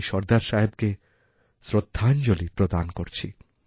আমি সর্দার সাহেবকে শ্রদ্ধাঞ্জলি প্রদান করছি